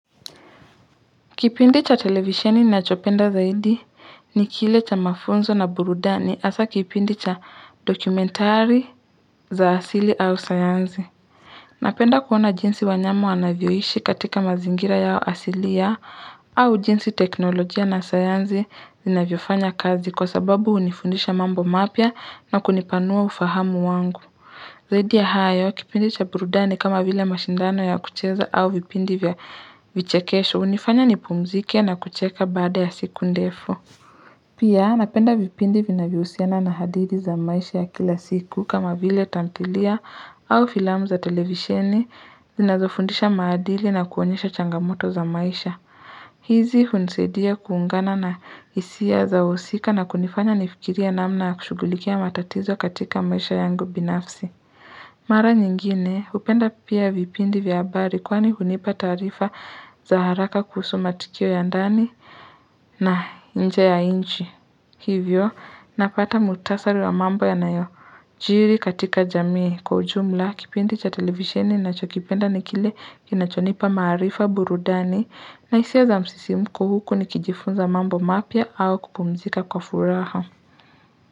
Kipindi cha televisheni ninachopenda zaidi ni kile cha mafunzo na burudani hasa kipindi cha dokumentari za asili au sayansi. Napenda kuona jinsi wanyama wanavyoishi katika mazingira yao asiliao au jinsi teknolojia na sayansi zinavyofanya kazi kwa sababu hunifundisha mambo mapya na kunipanua ufahamu wangu. Zaidi ya hayo, kipindi cha burudani kama vile mashindano ya kucheza au vipindi vya vichekesho, hunifanya nipumzike na kucheka baada ya siku ndefu. Pia, napenda vipindi vinavyohusiana na hadithi za maisha ya kila siku kama vile tamthilia au filamu za televisheni zinazofundisha maadili na kuonyesha changamoto za maisha. Hizi hunisaidia kuungana na hisia za wahsika na kunifanya nifikirie namna ya kushughulikia matatizo katika maisha yangu binafsi. Mara nyingine hupenda pia vipindi vya habari kwani hunipa taarifa za haraka kuhusu matukio ya ndani na nje ya inchi hivyo napata mukhtasari wa mambo ya nayojiri katika jamii kwa ujumla kipindi cha televisheni ninachokipenda ni kile kinachonipa maarifa burudani na hisia za msisimko huku nikijifunza mambo mapya au kupumzika kwa furaha.